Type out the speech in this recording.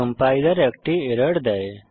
compiler একটি error দেয়